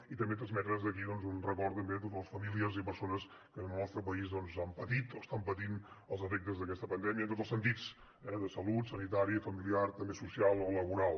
i també transmetre des d’aquí un record també a totes les famílies i persones que en el nostre país han patit o estan patint els efectes d’aquesta pandèmia en tots els sentits eh de salut sanitari familiar i també social o laboral